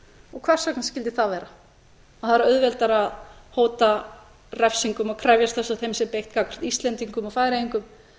og hvers vegna skyldi það vera að það er auðveldara að hóta refsingum og krefjast þess að þeim sé beitt gagnvart íslendingum og færeyingum